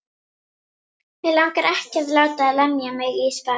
Og ekki mun koma til óeirða neins staðar á jörðinni.